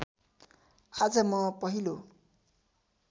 आज म पहिलो